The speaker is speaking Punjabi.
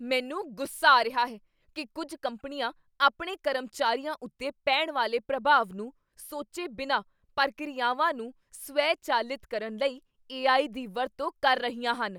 ਮੈਨੂੰ ਗੁੱਸਾ ਆ ਰਿਹਾ ਹੈ ਕੀ ਕੁੱਝ ਕੰਪਨੀਆਂ ਆਪਣੇ ਕਰਮਚਾਰੀਆਂ ਉੱਤੇ ਪੈਣ ਵਾਲੇ ਪ੍ਰਭਾਵ ਨੂੰ ਸੋਚੇ ਬਿਨਾਂ ਪ੍ਰਕਿਰਿਆਵਾਂ ਨੂੰ ਸਵੈਚਾਲਿਤ ਕਰਨ ਲਈ ਏ.ਆਈ. ਦੀ ਵਰਤੋਂ ਕਰ ਰਹੀਆਂ ਹਨ।